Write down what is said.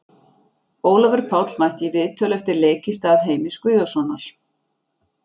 Ólafur Páll mætti í viðtöl eftir leik í stað Heimis Guðjónssonar.